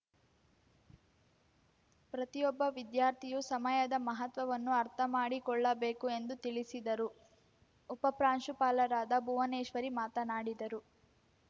ಪ್ರತಿಯೊಬ್ಬ ವಿದ್ಯಾರ್ಥಿಯೂ ಸಮಯದ ಮಹತ್ವವನ್ನು ಅರ್ಥಮಾಡಿಕೊಳ್ಳಬೇಕು ಎಂದು ತಿಳಿಸಿದರು ಉಪಪ್ರಾಂಶುಪಾಲರದ ಭುವನೇಶ್ವರಿ ಮಾತನಾಡಿದರು